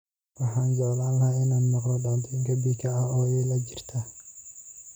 Waxaan jeclaan lahaa inaan maqlo dhacdo pika ah oo ila jirta